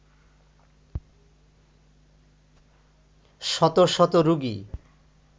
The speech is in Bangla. শত শত রোগী